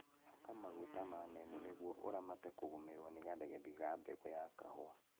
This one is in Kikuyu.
Haka maguta ma neemu nĩguo ũramate kũgũmĩrwo ni gathegethi ga mbegũ ya kahũa